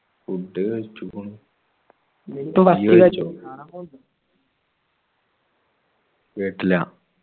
food കഴിച്ചിക്കാണു കെട്ടില്യ